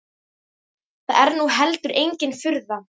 Það er nú heldur engin furða.